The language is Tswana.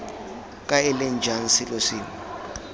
kae leng jang selo sengwe